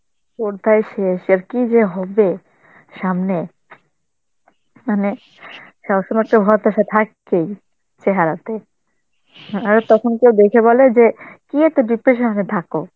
কোথায় শেষ আর কি যে হবে সামনে? মানে সব সময় তো হতাশা থাকেই চেহারাতে. হ্যাঁ আর তখন কেউ দেখে বলে যে কি এত depression এ থাকো?